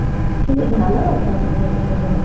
ଟିକେ ଧ୍ୟାନ ରଖିବାକୁ ପଡିବ ତତେ ଲୋ